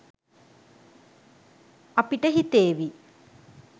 අපිට හිතේවි